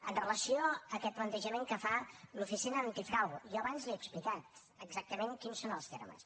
amb relació a aquest plantejament que fa l’oficina antifrau jo abans li he explicat exactament quins són els termes